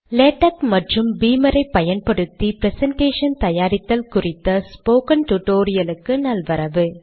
LaTeX மற்றும் Beamer ஐ பயன்படுத்தி ப்ரசன்டேஷன் தயாரித்தல் குறித்த டுடோரியலுக்கு நல்வரவு